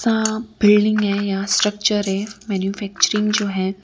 यहां बिल्डिंग है यहां स्ट्रक्चर है मैन्युफैक्चरिंग जो है।